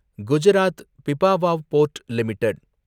Gujarat Pipavav port limited